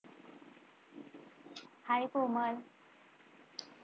Hi Komal!